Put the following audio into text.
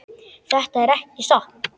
Þetta er ekki satt!